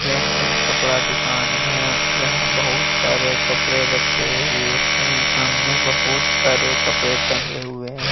यह एक कपड़ा दुकान है जहां बहुत सारे कपड़े रखे हुए हैं सामने बहुत सारे कपड़े टंगे हुए हैं।